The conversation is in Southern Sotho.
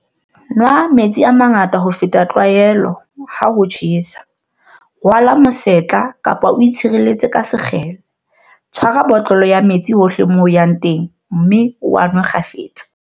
Nwa metsi a mangata ho feta tlwaelo, ha ho tjhesa. Rwala mosetla kapa o itshireletse ka sekgele. Tshwara botlolo ya metsi hohle moo o yang teng mme o a nwe kgafetsa.